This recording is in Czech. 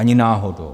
Ani náhodou.